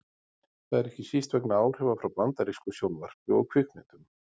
Það er ekki síst vegna áhrifa frá bandarísku sjónvarpi og kvikmyndum.